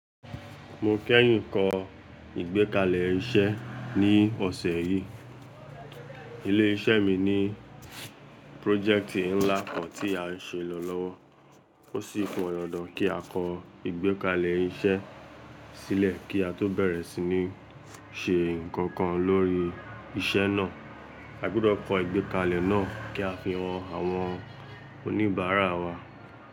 Mo kẹ́yìn kọ ìgbẹ́kalẹ̀ iṣẹ́ ní ọ̀sẹ̀ yìí. Ilé iṣẹ́ mi ní prójẹ̀ktì ńlá kan tí a ṣe lọ́lọ́wọ́. Ó sì pọn dandan kí a kọ ìgbẹ́kalẹ̀ iṣẹ́ sílẹ̀ kí a tó bẹ̀rẹ̀ sí ní ṣe nǹkan kan lórí iṣẹ́ náà. A gbọ́dọ̀ kọ ìgbẹ́kalẹ̀ náà kí a fi hàn àwọn oníbàárà wa.